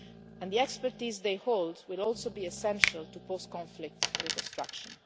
locally. And the expertise they hold will also be essential to post conflict reconstruction.